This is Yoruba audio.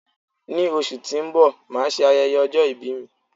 Ní oṣù tí ó ń bọ̀, máà ṣe ayẹyẹ ọjọ́ ìbí mi